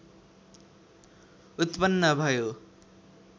उत्पन्न भयो